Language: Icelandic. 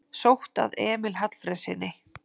Sótt að Emil Hallfreðssyni